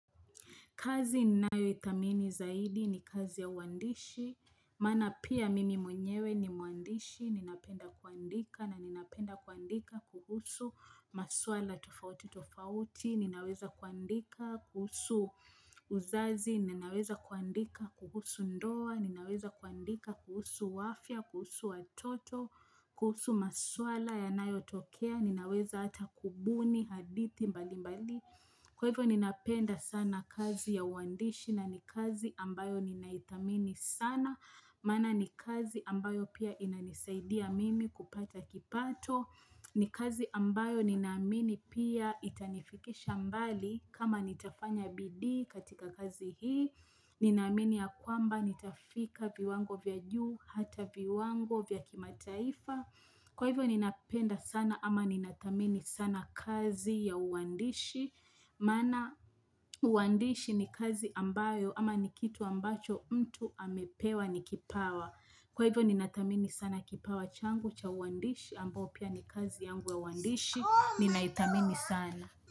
Kazi ninayoidhamini zaidi ni kazi ya uwandishi. Maana pia mimi mwenyewe ni mwandishi. Ninapenda kuandika na ninapenda kuandika kuhusu maswala tofauti tofauti. Ninaweza kuandika kuhusu uzazi. Ninaweza kuandika kuhusu ndoa. Ninaweza kuandika kuhusu afya, kuhusu watoto. Kuhusu maswala yanayotokea. Ninaweza hata kubuni, haditi mbali mbali. Kwa hivyo ninapenda sana kazi ya uandishi na ni kazi ambayo ninaithamini sana Maana ni kazi ambayo pia inanisaidia mimi kupata kipato ni kazi ambayo ninaamini pia itanifikisha mbali kama nitafanya bidii katika kazi hii Ninaamini ya kwamba nitafika viwango vya juu hata viwango vya kimataifa Kwa hivyo ninapenda sana ama ninathamini sana kazi ya uandishi Maana uwandishi ni kazi ambayo ama ni kitu ambacho mtu amepewa ni kipawa Kwa hivyo ninathamini sana kipawa changu cha uwandishi Ambo pia ni kazi yangu ya uwandishi ninaithamini sana.